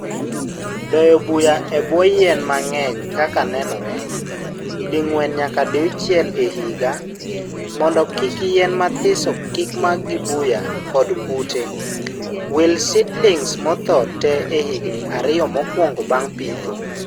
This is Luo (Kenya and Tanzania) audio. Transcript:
Doyo buya e buo yien mangeny kaka nenore.( dingwen nyaka diuchiel e higa) mondo kik yien mathiso kikmak gi buya kod kute. Wil seedlings mothoo tee e higni ariyo mokwongo bang pitho.